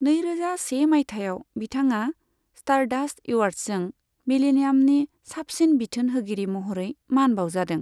नैरोजा से माइथायाव, बिथाङा स्टारडास्ट एवार्ड्सजों 'मिलेनियामनि साबसिन बिथोन होगिरि' महरै मान बावजादों।